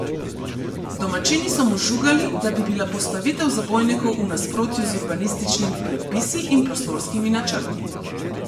Domačini so mu žugali, da bi bila postavitev zabojnikov v nasprotju z urbanističnimi predpisi in prostorskimi načrti.